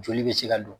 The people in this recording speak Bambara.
Joli bɛ se ka don